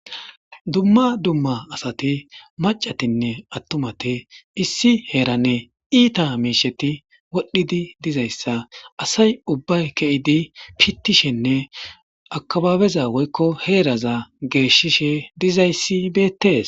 Dumma dumma asati maccatinne attumati issi heerani iita miisheti wodhdhidi dizayssa asay ubbay keyidi pittishenne akkabaabeza woykko heeraza geeshishe dizaysi beettees.